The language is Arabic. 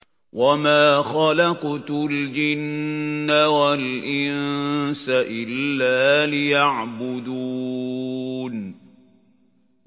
وَمَا خَلَقْتُ الْجِنَّ وَالْإِنسَ إِلَّا لِيَعْبُدُونِ